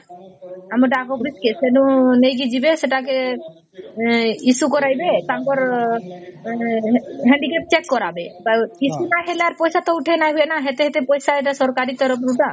ଆମର କେ ଡାକ case କେ ସେଇନୁ ନେଇକି ଯିବେ ସେଟାକେ issue କରାଇବେ ତାଙ୍କର handicapped check କାରବେ issue ନ ହେଲା ପଇସା ତ ଉଠେଇନ ନ ହୁଏ ନ ସେଟା ପଇସା ତ ସରକାରୀ ତରଫରୁ ନ